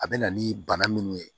A bɛ na ni bana minnu ye